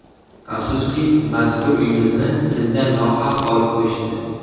Afsuski, mazkur uyimizni bizdan nohaq olib qo‘yishdi.